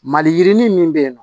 Mali yirinin min bɛ yen nɔ